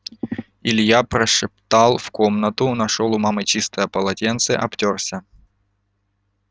илья прошептал в комнату нашёл у мамы чистое полотенце обтёрся